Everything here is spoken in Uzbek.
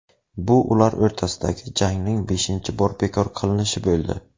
Bu ular o‘rtasidagi jangning beshinchi bor bekor qilinishi bo‘ldi.